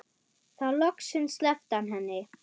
Þá loksins sleppti hann henni.